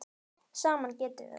Saman getum við það.